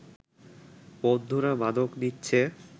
বন্ধুরা মাদক নিচ্ছে